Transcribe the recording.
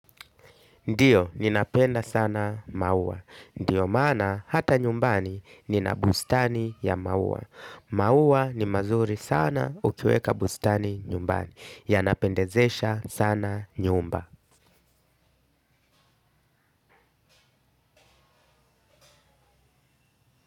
Ndiyo ninapenda sana mauwa. Ndiyo maana hata nyumbani nina bustani ya mauwa. Maua ni mazuri sana ukiweka bustani nyumbani. Yanapendezesha sana nyumba.